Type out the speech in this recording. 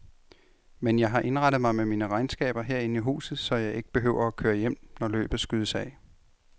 Men jeg har indrettet mig med mine regnskaber herinde i huset, så jeg ikke behøver at køre hjem, når løbet skydes af.